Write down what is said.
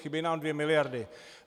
Chybějí nám dvě miliardy.